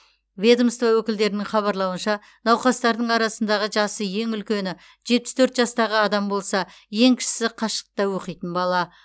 ведомство өкілдерінің хабарлауынша науқастардың арасындағы жасы ең үлкені жетпіс төрт жастағы адам болса ең кішісі қашықтықта оқитын бала